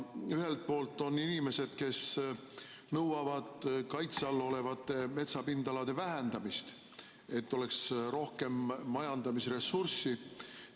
Ühelt poolt on inimesed, kes nõuavad kaitse all olevate metsapindalade vähendamist, et oleks rohkem majandamise ressurssi.